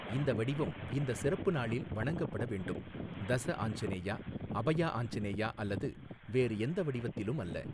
இந்த வடிவம் இந்த சிறப்பு நாளில் வணங்கப்பட வேண்டும், தஸ ஆஞ்சநேயா, அபயா ஆஞ்சநேயா அல்லது வேறு எந்த வடிவத்திலும் அல்ல.